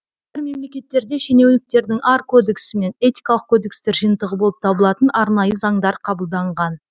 мемлекеттерде шенеуніктердің ар кодексі немесе этикалық кодекстер жиынтығы болып табылатын арнайы заңдар қабылданған